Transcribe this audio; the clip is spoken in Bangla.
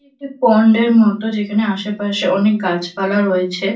একটি পন্ড -এর মতো যেখানে আশেপাশে অনেক গাছপালা রয়েছে।